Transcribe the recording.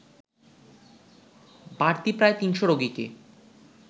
বাড়তি প্রায় তিনশ রোগীকে